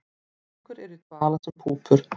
Nokkur eru í dvala sem púpur.